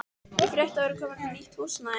Ég frétti að þú værir komin með nýtt húsnæði.